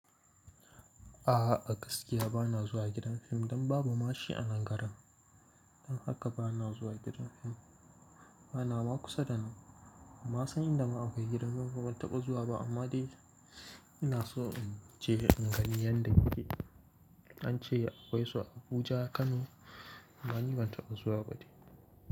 A'a, a gaskiya bana zuwa gidan fim don babu mashi anan garin. Don haka bana zuwa gidan fim. Bana ma kusa da nan. Ban san inda ma akwai gidan fim ba ban taɓa zuwa ba amma dai ina so in je in gani yanda yake. An ce akwai su a Abuja, Kano amma ni ban taɓa zuwa ba dai.